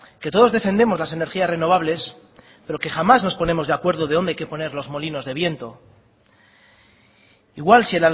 que todos defendemos las energías renovables pero que jamás nos ponemos de acuerdo de dónde hay que poner los molinos del viento igual si